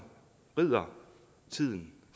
rider tiden